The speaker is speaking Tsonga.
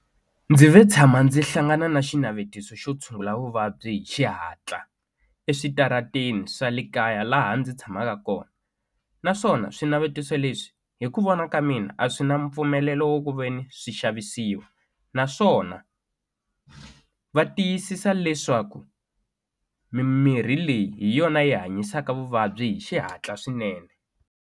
Ndzi ve tshama ndzi hlangana na xinavetiso xo tshungula vuvabyi hi xihatla eswitarateni swa le kaya laha ndzi tshamaka kona naswona swinavetiso leswi hi ku vona ka mina a swi na mpfumelelo wo ku veni swi xavisiwa naswona va tiyisisa leswaku mimirhi leyi hi yona yi hanyisaka vuvabyi hi xihatla swinene.